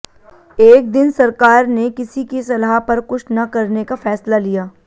एक दिन सरकार ने किसी की सलाह पर कुछ न करने का फैसला लिया